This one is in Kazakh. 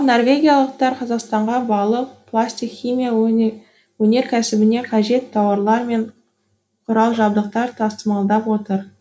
ал норвегиялықтар қазақстанға балық пластик химия өнеркәсібіне қажетті тауарлар мен құрал жабдық тасымалдап отыр